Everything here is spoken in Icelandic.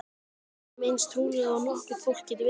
Við erum eins trúlofuð og nokkurt fólk getur verið.